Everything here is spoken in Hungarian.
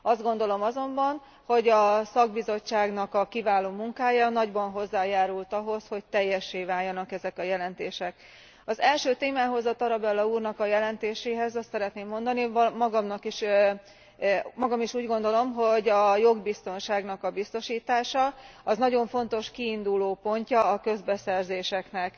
Azt gondolom azonban, hogy a szakbizottságnak a kiváló munkája nagyban hozzájárult ahhoz, hogy teljessé váljanak ezek a jelentések. Az első témához, a Tarabella úrnak a jelentéséhez azt szeretném mondani, magam is úgy gondolom, hogy a jogbiztonságnak a biztosítása az nagyon fontos kiindulópontja a közbeszerzéseknek.